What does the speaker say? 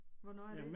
Hvornår er det